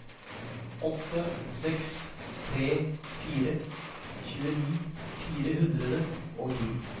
åtte seks tre fire tjueni fire hundre og ti